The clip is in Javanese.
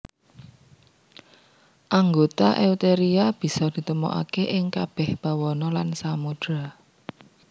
Anggota Eutheria bisa ditemokaké ing kabèh bawana lan samudra